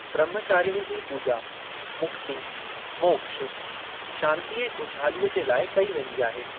ब्रह्मचारिणी जी पूॼा मुक्ति, मोक्ष, शांती ऐं खु़शहालीअ जे लाइ कई वेंदी आहे।